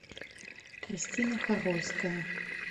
кристина хорольская